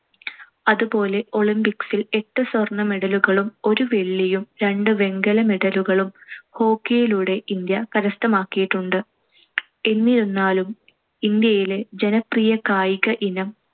അതുപോലെ olympics ൽ എട്ട് സ്വർണ്ണ medal കളും ഒരു വെള്ളിയും രണ്ട് വെങ്കല medal കളും hockey യിലൂടെ ഇന്ത്യ കരസ്ഥമാക്കിയിട്ടുണ്ട്. എന്നിരുന്നാലും ഇന്ത്യയിലെ ജനപ്രിയ കായിക ഇനം